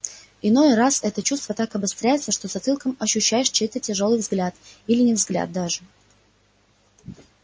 иной раз это чувство так обостряется что затылком ощущаешь чей-то тяжёлый взгляд или не взгляд даже